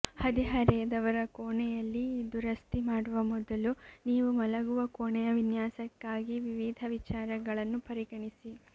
ಹದಿಹರೆಯದವರ ಕೋಣೆಯಲ್ಲಿ ದುರಸ್ತಿ ಮಾಡುವ ಮೊದಲು ನೀವು ಮಲಗುವ ಕೋಣೆಯ ವಿನ್ಯಾಸಕ್ಕಾಗಿ ವಿವಿಧ ವಿಚಾರಗಳನ್ನು ಪರಿಗಣಿಸಿ